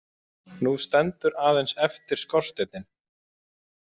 Nú stendur aðeins eftir skorsteinninn